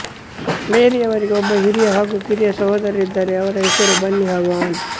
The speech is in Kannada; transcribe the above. ಮೇರಿಯವರಿಗೆ ಒಬ್ಬ ಹಿರಿಯ ಹಾಗು ಕಿರಿಯ ಸಹೋದರರಿದ್ದಾರೆ ಅವರ ಹೆಸರು ಬನ್ನಿ ಹಾಗು ಆನ್